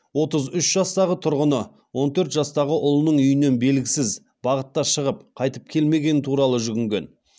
отыз үш жастағы тұрғыны он төрт жастағы ұлының үйінен белгісіз бағытта шығып қайтып келмегені туралы жүгінген